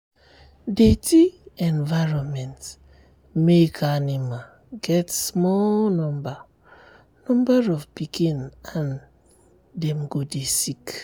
dirty environment make animal get small number number of pikin and dem go dey sick.